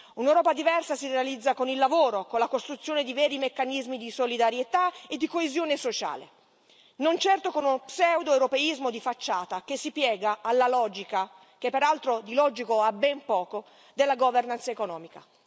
Un'Europa diversa si realizza con il lavoro, con la costruzione di veri meccanismi di solidarietà e di coesione sociale, non certo con uno pseudoeuropeismo di facciata che si piega alla logica, che peraltro di logico ha ben poco, della governance economica.